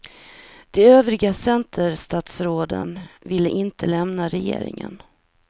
De övriga centerstatsråden vill inte lämna regeringen.